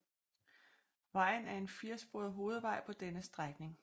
Vejen er en firesporet hovedvej på denne strækning